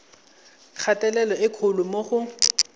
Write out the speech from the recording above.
kgatelelo e kgolo mo go